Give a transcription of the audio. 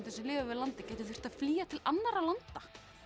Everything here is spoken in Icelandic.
sem lifa við landið geta þurft að flýja til annarra landa